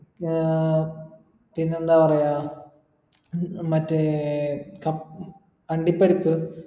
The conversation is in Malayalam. ആഹ് പിന്നെന്താ പറയാ ഉം മറ്റേ ക അണ്ടി പരിപ്പ്